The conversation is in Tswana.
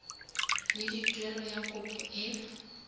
le tuelo ya kopo e